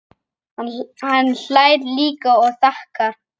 Hann hlær líka og þakkar.